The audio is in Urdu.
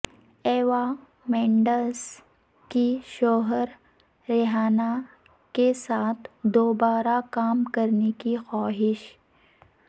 ایوا مینڈس کی شوہر ریان کیساتھ دوبارہ کام کرنے کی خواہش